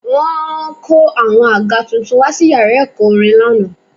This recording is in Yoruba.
Wọ́n kó àwọn àga tuntun wá sí yàrá ẹ̀kọ́ orin lánàá